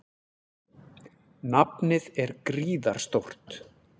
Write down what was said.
Nafnið er gríðarstórt.